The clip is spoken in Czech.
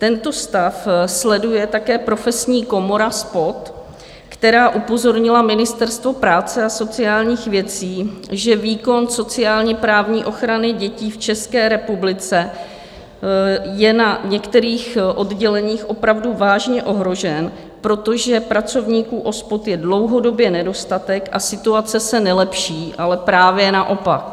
Tento stav sleduje také Profesní komora SPOD, která upozornila Ministerstvo práce a sociálních věcí, že výkon sociálně-právní ochrany dětí v České republice je na některých odděleních opravdu vážně ohrožen, protože pracovníků OSPOD je dlouhodobě nedostatek, a situace se nelepší, ale právě naopak.